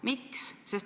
Miks?